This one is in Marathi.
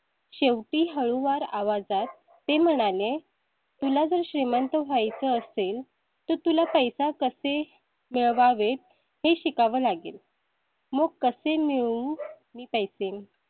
शेवटी हळूवार आवाजात ते म्हणाले, तुला जर श्रीमंत व्हायचे असेल तर तुला पैसे कसे मिळवावेत हे शिकावं लागेल. मुख कशी मी मी पैसे.